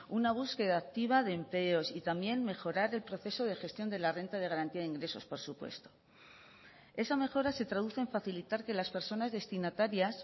una búsqueda activa de empleos y también mejorar el proceso de gestión de la renta de garantía de ingresos por supuesto esa mejora se traduce en facilitar que las personas destinatarias